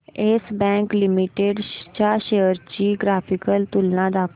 yes Bank Limited च्या shares ची graphical तुलना दाखव